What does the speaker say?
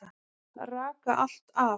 Raka allt af.